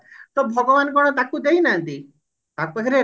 ତ ଭଗବାନ କଣ ତାକୁ ଦେଇ ନାହାନ୍ତି ତା ପାଖରେ